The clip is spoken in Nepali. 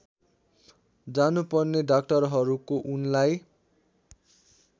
जानुपर्ने डाक्टरहरूको उनलाई